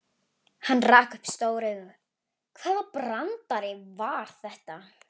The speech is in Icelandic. Hann rak upp stór augu, hvaða brandari var þetta?